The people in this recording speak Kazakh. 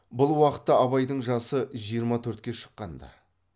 бұл уақытта абайдың жасы жиырма төртке шыққанды